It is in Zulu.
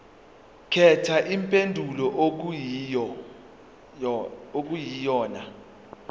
khetha impendulo okuyiyona